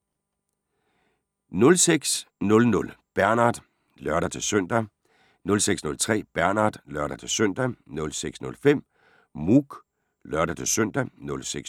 06:00: Bernard (lør-søn) 06:03: Bernard (lør-søn) 06:05: Mouk (lør-søn)